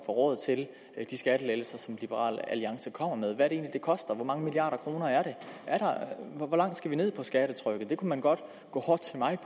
råd til de skattelettelser som liberal alliance kommer med hvad er det det koster hvor mange milliarder kroner er det hvor langt skal vi ned skattetrykket det kunne man godt gå hårdt til mig